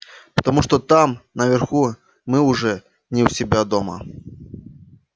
потому что там наверху мы уже не у себя дома